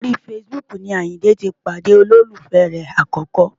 Orí Facebook ni Àyìndé ti pàdé olólùfẹ́ rẹ̀ àkọ́kọ́.